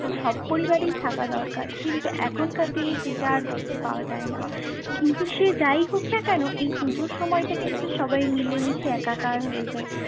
সব পরিবারেই থাকা দরকার। কিন্তু এখনকার দিনে সেটা আর দেখতে পাওয়া যায় না। কিন্তু সে যাই হোক না কেন এই পুজোর সময়টা কিন্তু সবাই মিলে মিশে একাকার হয়ে যায়।